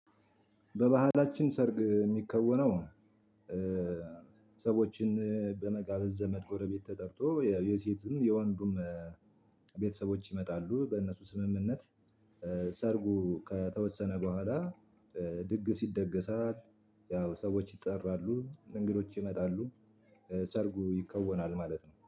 በባህላችን ሰርግ የሚከወነው ሰዎችን በመጋበዝ ዘመድ ጎረቤት ተጠርቶ የሴትም የወንዱም ቤተሰቦች ይመጣሉ በእነሱ ስምምነት ሰርጉ ከተወሰነ በኋላ ድግስ ይደገሳል። ያው ሰዎች ይጠራሉ እንግዶች ይመጣሉ። ሰርጉ ይከወናል ማለት ነው